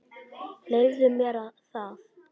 Leyfðu mér það